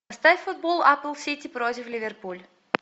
поставь футбол апл сити против ливерпуль